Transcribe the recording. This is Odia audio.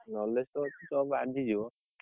Knowledge ତ ତୋର ବାଜି ଯିବ।